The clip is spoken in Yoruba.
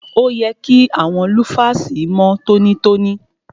Òye kí àwọn lúfàsì mọ́ tọ́nítọ́ní.